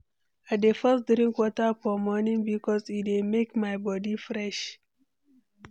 I dey first drink water for morning bikos e dey make my body fresh.